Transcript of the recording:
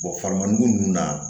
faranin nunnu na